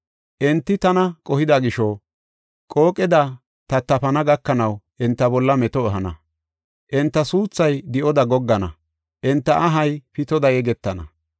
Enti tana qohida gisho, qooqeda tattafana gakanaw, enta bolla meto ehana. Enta suuthay di7oda goggana; enta ahay pitoda yegetana.